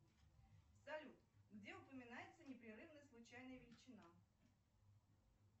салют где упоминается непрерывная случайная величина